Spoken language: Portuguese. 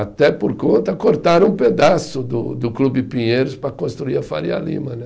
Até por conta, cortaram um pedaço do do Clube Pinheiros para construir a Faria Lima né.